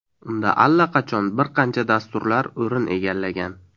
Unda allaqachon bir qancha dasturlar o‘rin egallagan.